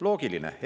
Loogiline!